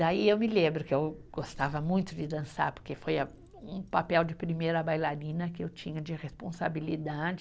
Daí eu me lembro que eu gostava muito de dançar, porque foi a, um papel de primeira bailarina que eu tinha de responsabilidade,